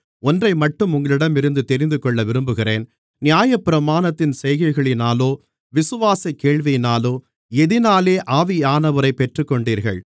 ஒன்றைமட்டும் உங்களிடமிருந்து தெரிந்துகொள்ள விரும்புகிறேன் நியாயப்பிரமாணத்தின் செய்கைகளினாலோ விசுவாசக் கேள்வியினாலோ எதினாலே ஆவியானவரைப் பெற்றுக்கொண்டீர்கள்